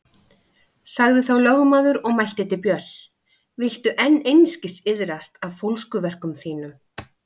Sagði þá lögmaður og mælti til Björns: Viltu enn einskis iðrast af fólskuverkum þínum?